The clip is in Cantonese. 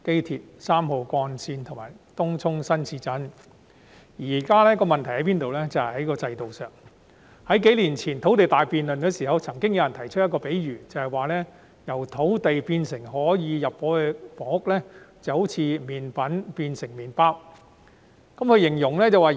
現時的問題出於制度上，在數年前進行土地大辯論的時候，有人提出一個比喻：由土地變成可以入伙的房屋，就好像麵粉變成麵包一樣。